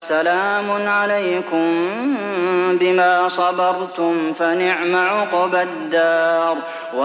سَلَامٌ عَلَيْكُم بِمَا صَبَرْتُمْ ۚ فَنِعْمَ عُقْبَى الدَّارِ